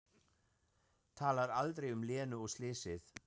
Talar aldrei um Lenu og slysið.